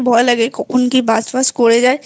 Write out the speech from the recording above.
ভয় লাগে কখন কি Burst Fust করে যায়